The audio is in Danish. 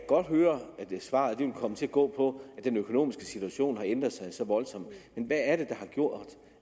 svaret vil komme til at gå på at den økonomiske situation har ændret sig voldsomt men hvad er det der har gjort